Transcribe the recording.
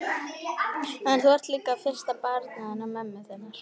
En þú ert líka fyrsta barnið hennar mömmu þinnar.